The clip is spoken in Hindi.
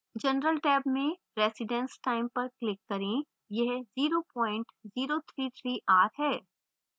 general time में residence time पर click करें